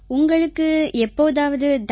உங்களுக்கு எப்போதாவது தண்டனை